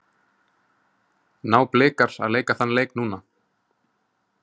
Ná Blikar að leika þann leik núna?